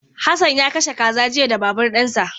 Hassan ya kashe kaza jiya da babur dinsa.